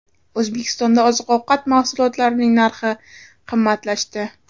O‘zbekistonda oziq-ovqat mahsulotlarining narxi qimmatlashdi.